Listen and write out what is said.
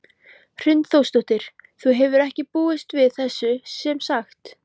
Hrund Þórsdóttir: Þú hefur ekki búist við þessu sem sagt?